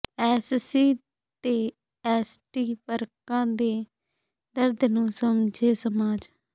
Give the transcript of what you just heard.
SC ਤੇ ST ਵਰਗਾਂ ਦੇ ਦਰਦ ਨੂੰ ਸਮਝੇ ਸਮਾਜ